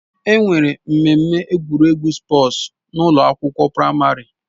Enwere mmemme egwuregwu spọọs n'ụlọ akwụkwọ praịmarị.